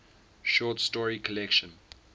short story collection